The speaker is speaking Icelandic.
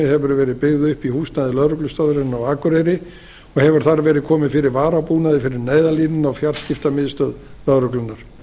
hefur verið byggð upp í húsnæði lögreglustöðvarinnar á akureyri og hefur þar verið komið fyrir varabúnaði fyrir neyðarlínuna og fjarskiptamiðstöð lögreglunnar